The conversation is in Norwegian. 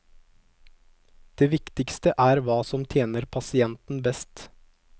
Det viktigste er hva som tjener pasienten best.